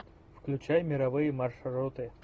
включай мировые маршруты